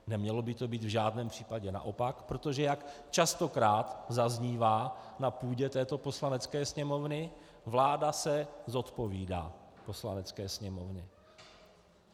Nemělo by to být v žádném případě naopak, protože jak častokrát zaznívá na půdě této Poslanecké sněmovny, vláda se zodpovídá Poslanecké sněmovně.